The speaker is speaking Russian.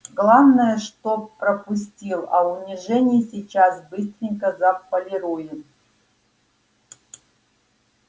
главное что пропустил а унижение сейчас быстренько заполируем